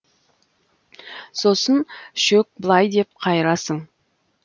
сосын шөк былай деп қайырасың